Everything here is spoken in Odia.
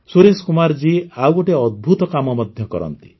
ସୁରେଶ କୁମାର ଜୀ ଆଉ ଗୋଟିଏ ଅଦ୍ଭୁତ କାମ ମଧ୍ୟ କରନ୍ତି